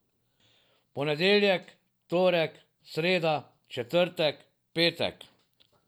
Ponedeljek, torek, sreda, četrtek, petek?